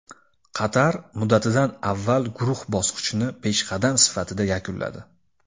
Qatar muddatidan avval guruh bosqichini peshqadam sifatida yakunladi.